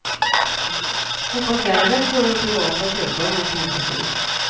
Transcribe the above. Hoppas därmed få den privata köparen att tända till.